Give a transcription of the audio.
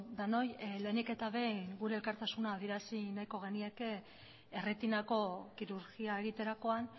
denoi lehenik eta behin gure elkartasuna adierazi nahiko genieke erretinako kirurgia egiterakoan